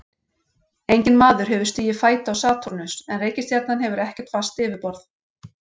Enginn maður hefur stigið fæti á Satúrnus en reikistjarnan hefur ekkert fast yfirborð.